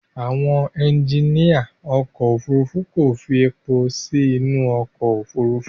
Àwọn ẹjiníà ọkọ̀ Òfurufú kò fi èpò sí inú ọkọ̀ Òfurufú.